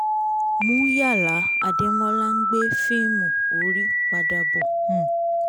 muyala adémọ́lá ń gbé fíìmì ọrí padà bọ̀ um